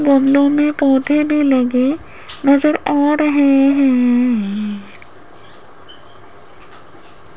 गमलों में पौधे ने लगे नजर आ रहे हैं।